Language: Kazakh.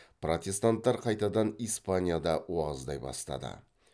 протестанттар қайтадан испанияда уағыздай бастады